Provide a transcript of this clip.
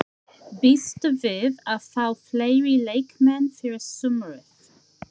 Býstu við að fá fleiri leikmenn fyrir sumarið?